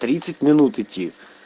тридцать минут идти